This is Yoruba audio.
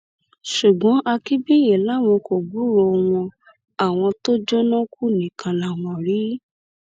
ṣùgbọn akínbíyì làwọn kò gbúròó wọn àwọn tó jóná kú nìkan làwọn rí